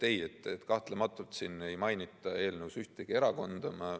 Ei, kahtlematult ei mainita eelnõus ühtegi erakonda.